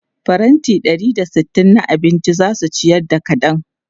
Faranti ɗari da sittin na abinci za su ciyar da kaɗan.